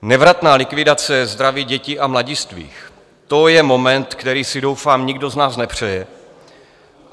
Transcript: Nevratná likvidace zdraví dětí a mladistvých, to je moment, který si doufám nikdo z nás nepřeje.